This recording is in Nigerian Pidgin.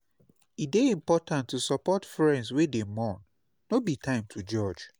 E dey important to support friends wey dey mourn; no be time to judge.